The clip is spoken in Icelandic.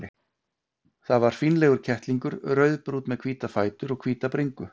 Það var fínlegur kettlingur, rauðbrúnn með hvíta fætur og hvíta bringu.